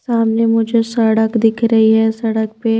सामने मुझे सड़क दिख रही है सड़क पे--